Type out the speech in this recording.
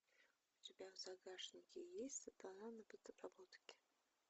у тебя в загашнике есть сатана на подработке